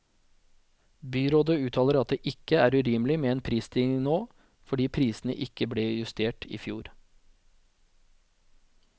Byrådet uttaler at det ikke er urimelig med en prisstigning nå, fordi prisene ikke ble justert i fjor.